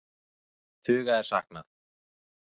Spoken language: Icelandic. Tuga er saknað